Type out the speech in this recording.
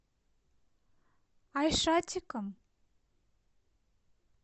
айшатиком